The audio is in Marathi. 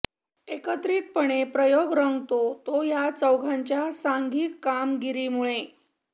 एकत्रितपणे प्रयोग रंगतो तो या चौघांच्या सांघिक कामगिरीमुळे